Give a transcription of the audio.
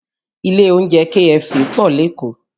Ilé oúnjẹ KFC pọ̀ lékòó